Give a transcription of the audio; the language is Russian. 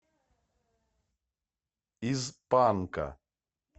из панка